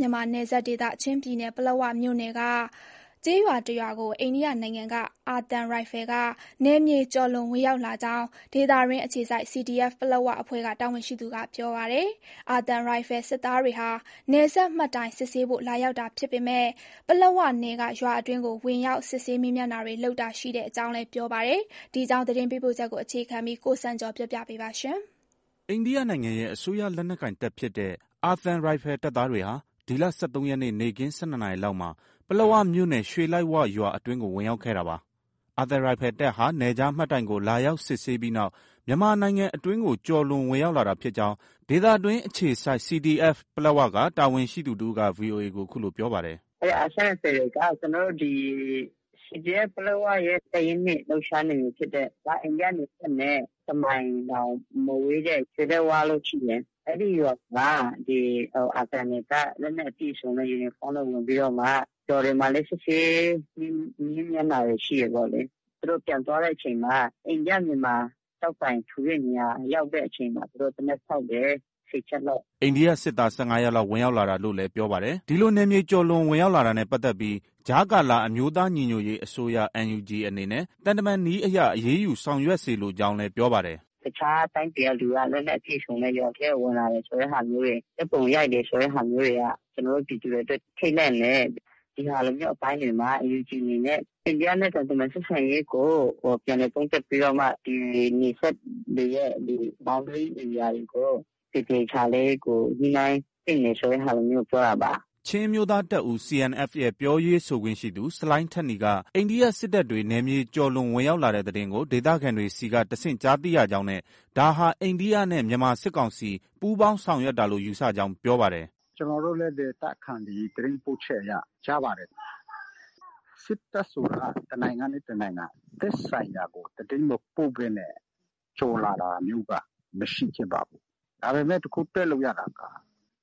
မြန်မာနယ်စပ်ဒေသရှိ ချင်းပြည်နယ်၊ ပလက်ဝမြို့နယ်က ကျေးရွာတစ်ရွာအတွင်းကို အိန္ဒိယနိုင်ငံ အာသံရိုင်ဖယ်က နယ်မြေကျော်လွန် ဝင်ရောက်လာကြောင်း ဒေသတွင်းအခြေစိုက် CDF ပလက်၀ အဖွဲ့က တာဝန်ရှိသူက ပြောပါတယ်။ အာသံရိုင်ဖယ် စစ်သားတွေဟာ နယ်စပ်မှတ်တိုင်စစ်ဆေးဖို့ လာရောက်တာဖြစ်ပေမဲ့ ပလက်ဝနယ်က ရွာအတွင်းကို ဝင်ရောက် စစ်ဆေး မေးမြန်းတာတွေ လုပ်တာရှိကြောင်း ပြောပါတယ်။ ဒီအကြောင်း သတင်းပေးပို့ချက်ကို အခြေခံပြီး ကိုစံကျော် ပြောပြပေးပါမယ်။ အိန္ဒိယနိုင်ငံရဲ့ အစိုးရလက်နက်ကိုင်တပ်ဖြစ်တဲ့ အာသံရိုင်ဖယ်တပ်သားတွေဟာ ဒီလ ၁၃ရက်နေ့ နေ့ခင်း ၁၂နာရီလောက်မှာ ပလက်ဝမြို့နယ် ရွှေလိုက်ဝရွာ အတွင်းကို ဝင်ရောက်ခဲ့တာပါ။ အာသံရိုင်ဖယ်တပ်ဟာ နယ်ခြားမှတ်တိုင်ကို လာရောက်စစ်ဆေးပြီးနောက် မြန်မာနိုင်ငံအတွင်းကို ကျော်လွန် ဝင်ရောက်လာတာဖြစ်ကြောင်း ဒေသတွင်းအခြေစိုက် CDF ပလက်ဝက တာဝန်ရှိသူတစ်ဦးက VOA ကို အခုလို ပြောပါတယ်။ “ အာသံရိုင်ဖယ်တွေက ကျနော်တို့ ဒီ CDF ပလက်ဝရဲ့ တပ်ရင်း ၂ လှုပ်ရှားနယ်မြေဖြစ်တဲ့၊ အိန္ဒိယနယ်စပ်နဲ့ တစ်မိုင်တောင် မဝေးတဲ့ ရွှေလိုက်ဝလို့ ရှိတယ်။ အဲဒီရွာကို အာသံတွေက လက်နက်အပြည့်အစုံ ယူနီဖောင်းနဲ့ ဝင်ပြီးတော့မှ ရွာတွေမှာလည်း စစ်ဆေး မေးမြန်းတာတွေ ရှိတယ်ပေါ့လေ။ သူတို့ ပြန်သွားတဲ့အချိန်မှာ အိန္ဒိယ-မြန်မာ ကျောက်တိုင်ထူတဲ့နေရာ ရောက်တဲ့အချိန်မှာ သူတို့ သေနတ်ဖောက်တယ်။ ၁၀ ချက်လောက်။ ” အိန္ဒိယစစ်သား ၁၅ယောက်လောက် ဝင်ရောက်လာတာလို့လည်း ပြောပါတယ်။ ဒီလို နယ်မြေကျော်လွန်ဝင်ရောက်လာတာနဲ့ ပတ်သက်ပြီး ကြားကာလ အမျိုးသားညီညွတ်ရေးအစိုးရ NUG အနေနဲ့ သံတမန်နည်းအရ အရေးယူ ဆောင်ရွက်စေလိုကြောင်းလည်း ပြောပါတယ်။ “ တခြားတိုင်းပြည်က လက်နက်အပြည့်အစုံနဲ့ ရွာထဲကို ဝင်လာတယ်ဆိုတဲ့ဟာမျိုးတွေ၊ ဓါတ်ပုံရိုက်တယ်ဆိုတဲ့ဟာမျိုးတွေက ကျနော်တို့ ပြည်သူတွေ ထိတ်လန့်တယ်။ ဒီဟာမျိုးအပိုင်းတွေမှာ NUG အနေနဲ့ အိန္ဒိယနဲ့ သံတမန်ဆက်ဆံရေးကို ပြန်လည် သုံးသပ်ပြီးတော့မှ နယ်စပ်တွေရဲ့ Boundary ဧရိယာတွေကို သေသေချာချာလေး ညှိနှိုင်းသင့်တယ် ဆိုတဲ့ဟာမျိုးကို ပြောတာပါ။ ” ချင်းအမျိုးသားတပ်ဦး CNF ရဲ့ ပြောရေးဆိုခွင့်ရှိသူ ဆလိုင်းထက်နီက အိန္ဒိယစစ်တပ်တွေ နယ်မြေကျော်လွန် ဝင်ရောက်လာတဲ့သတင်းကို ဒေသခံတွေဆီက တဆင့်ကြားသိရကြောင်းနဲ့ ဒါဟာ အိန္ဒိယနဲ့ မြန်မာစစ်ကောင်စီ ပူးပေါင်းဆောင်ရွက်တာလို့ ယူဆကြောင်း ပြောပါတယ်။ “ ကျနော်တို့လည်း ဒေသခံတွေ သတင်းပို့ချက်အရ ကြားပါတယ်။ စစ်တပ်ဆိုတာက တစ်နိုင်ငံနဲ့ တစ်နိုင်ငံ သက်ဆိုင်ရာကို သတင်းမပို့ဘဲနဲ့ ကျော်လာတာမျိုးက မရှိခဲ့ပါဘူး။ ဒါပေမဲ့ တစ်ခု တွက်လို့ ရတာက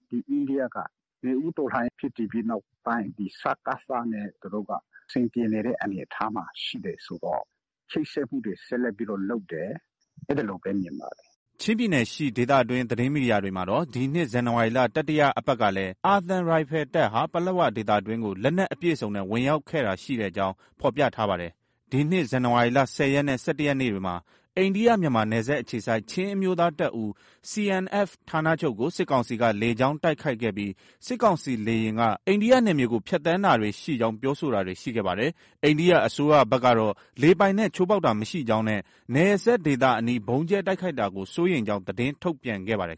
ဒီအိန္ဒိယက နွေဦးတော်လှန်ရေးဖြစ်တည်ပြီးနောက်ပိုင်း ဒီစကစနဲ့ သူတို့က အဆင်ပြေတဲ့အနေအထားမှာ ရှိတယ်ဆိုတော့ ချိတ်ဆက်မှုတွေ ဆက်လက်ပြီးတော့ လုပ်တယ်။ အဲဒီလိုပဲ မြင်ပါတယ်။” ချင်းပြည်နယ်ရှိဒေသတွင်း သတင်းမီဒီယာတွေမှာတော့ ဒီနှစ် ဇန်နဝါရီလ တတိယအပတ်ကလည်း အာသံရိုင်ဖယ်တပ်ဟာ ပလက်ဝဒေသအတွင်းကို လက်နက်အပြည့်အစုံနဲ့ ဝင်ရောက်ခဲ့တာရှိကြောင်း ဖော်ပြထားပါတယ်။ ဒီနှစ် ဇန်နဝါရီလ ၁၀ ရက်နဲ့ ၁၁ ရက်နေ့တွေမှာ အိန္ဒိယ-မြန်မာနယ်စပ်အခြေစိုက် ချင်းအမျိုးသားတပ်ဦး CNF ဌာနချုပ်ကို စစ်ကောင်စီက လေကြောင်းတိုက်ခိုက်ခဲ့ပြီး စစ်ကောင်စီလေယာဉ်က အိန္ဒိယနယ်မြေကို ဖြတ်သန်းတာရှိကြောင်း ပြောဆိုတာတွေ ရှိခဲ့ပါတယ်။ အိန္ဒိယအစိုးရဘက်ကတော့ လေပိုင်နက် ချိုးဖောက်တာမရှိကြောင်းနဲ့ နယ်စပ်ဒေသအနီး ဗုံးကြဲတိုက်ခိုက်တာကို စိုးရိမ်ကြောင်း သတင်းထုတ်ပြန်ခဲ့ပါတယ်